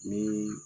Ni